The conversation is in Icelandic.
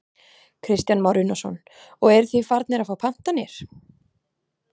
Kristján Már Unnarsson: Og eruð þið farnir að fá pantanir?